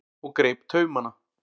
og greip taumana.